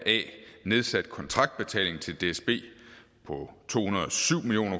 nedsat kontraktbetaling til dsb på to